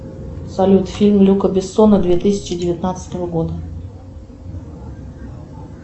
салют фильм люка бессона две тысячи девятнадцатого года